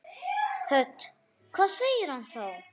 Hödd: Hvað segir hann þá?